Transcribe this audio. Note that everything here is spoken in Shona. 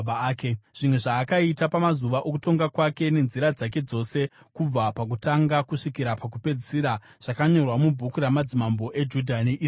Zvimwe zvaakaita pamazuva okutonga kwake nenzira dzake dzose kubva pakutanga kusvikira pakupedzisira zvakanyorwa mubhuku ramadzimambo eJudha neIsraeri.